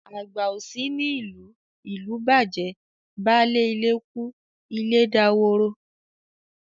Àgbà ò sí ní ìlú, ìlú bàjẹ́, baálé ilé kú ilé daworo.